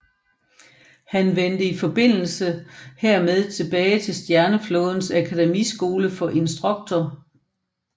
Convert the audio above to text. Han vendte i forbindelse hermed tilbage til Stjerneflådens Akademiskole som instruktor